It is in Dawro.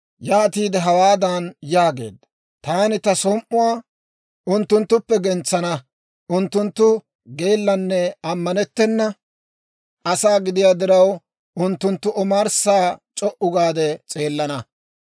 Yaatiide hawaadan yaageedda; «Taani ta som"uwaa unttunttuppe gentsana; unttunttu geellanne ammanettena asaa gidiyaa diraw, unttunttu omarssa c'o"u gaade s'eelana.